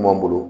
Anw bolo